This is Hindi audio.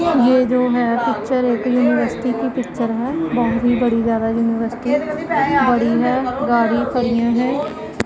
ये जो है पिक्चर एक यूनिवर्सिटी की पिक्चर है। बहोत ही बड़ी ज्यादा यूनिवर्सिटी बड़ी है गाड़ी खड़ीया है।